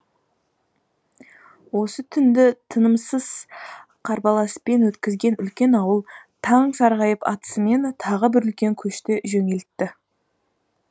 осы түнді тынымсыз қарбаласпен өткізген үлкен ауыл таң сарғайып атысымен тағы бір үлкен көшті жөнелтті